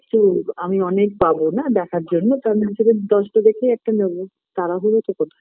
চুপআমি অনেক পাবো না দেখার জন্যে তা সে হিসাবে দশটা দেখে একটা নেব তারাহুরোটা কোথায়